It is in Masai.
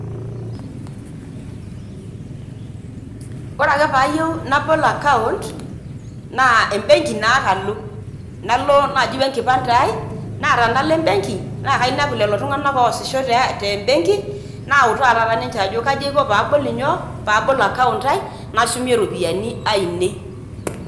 Ore ake pee ayieu nabol account naa embenki naa ake alo, nalo taa naaji o enkipande ai. Naa tenalo ebenki nalo naa kainepu lelo tung`anak oasisho te mbenki, nautaki taata ninche kaji aiko pee abol nyoo, pee abol account ai nashumie ropiyiani ainei.